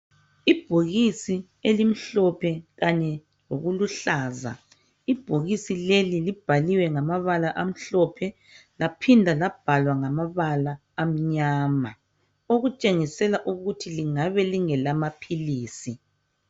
Ibhokisi elimhlophe kanye lokuluhlaza ibhokisi leli libhaliwe ngamabala amhlophe laphinda labhalwa ngamabala amnyama okutshengisela ukuthi lingabe lingelamaphilisi.